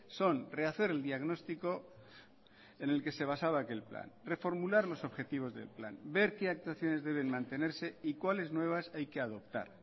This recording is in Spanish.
son rehacer el diagnóstico en el que se basaba aquel plan reformular los objetivos del plan ver qué actuaciones deben mantenerse y cuáles nuevas hay que adoptar